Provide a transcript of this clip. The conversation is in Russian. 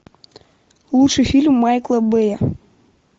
лучший фильм майкла бэя